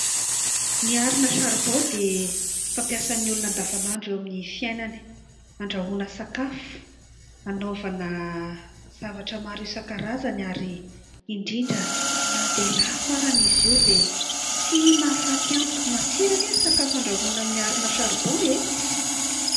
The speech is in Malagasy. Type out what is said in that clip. Ny arina saribao dia fampiasan'ny olona andavanandro eo amin'ny fiainany, andrahoana sakafo, hanaovana zavatra maro isan-karazany ary indrindra na dia lafo arany izy io dia tsy mahafaty antoka, matsiro ange ny sakafo andrahoana amin'ny arina saribao e!